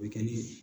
O bɛ kɛ ni